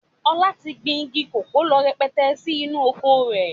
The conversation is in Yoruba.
Ọlá tí gbìn igi kòkó lọ rẹrẹrẹ sì inú oko rẹ̀